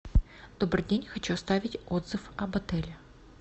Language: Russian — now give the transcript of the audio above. добрый день хочу оставить отзыв об отеле